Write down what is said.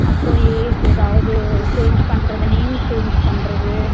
அப்பறம் age ஏதாவது change பண்றது name change பண்றது